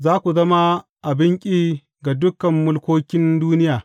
Za ku zama abin ƙi ga dukan mulkokin duniya.